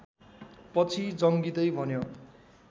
पछि जङ्गिँदै भन्यो